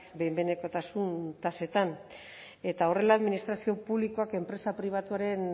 behin behinekotasun tasetan eta horrela administrazio publikoak enpresa pribatuaren